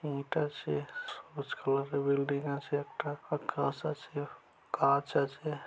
ইট আছে বিল্ডিং আছে একটা আর কাঁচ আছে গাছ আছে।